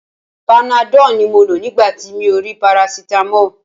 Panadọ́ọ̀ ni mo lò nígbà tí mi ò rí parasitamọ́ọ̀.